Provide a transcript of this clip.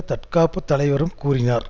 தற்பாதுகாப்பு தலைவரும் கூறினார்